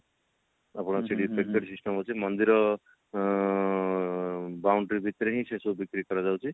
ଆପଣଙ୍କର ସେଠି ticket system ଅଛି ମନ୍ଦିର ଆଁ boundary ଭିତରେ ହିଁ ସେସବୁ ବିକ୍ରି କରାଯାଉଛି